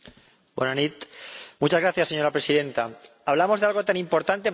Señora Presidenta, hablamos de algo tan importante para la agricultura como es la innovación.